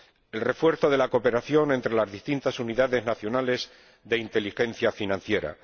el refuerzo de la cooperación entre las distintas unidades nacionales de inteligencia financiera